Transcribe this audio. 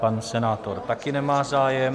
Pan senátor taky nemá zájem.